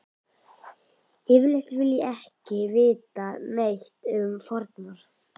Yfirleitt vil ég ekki vita neitt um fórnar